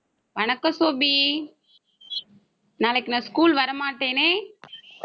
வணக்கம் சோபி நாளைக்கு நான் school வரமாட்டேனே.